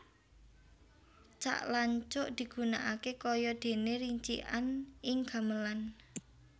Cak lan cuk digunakaké kaya déné ricikan ing gamelan